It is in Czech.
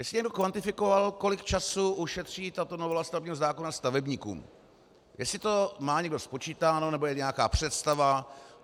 Jestli někdo kvantifikoval, kolik času ušetří tato novela stavebního zákona stavebníkům, jestli to má někdo spočítáno nebo je nějaká představa...